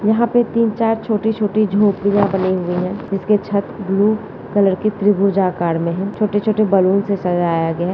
यहाँ पे तीन चार छोटी छोटी झोपड़ियाँ बनी हुई हैं | इसके छत ब्लू कलर के त्रिभुजा आकर में हैं | छोटे छोटे बलून से सजाया गया है |